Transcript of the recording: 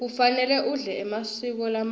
kufanele udle emaseko lamatsatfu